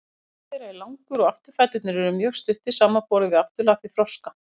líkami þeirra er langur og afturfæturnir eru mjög stuttir samanborið við afturlappir froska